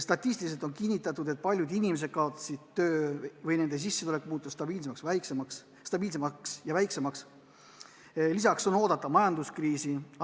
Statistiliselt on kinnitatud, et paljud inimesed on kaotanud töö või nende sissetulek on muutunud väiksemaks, on oodata majanduskriisi.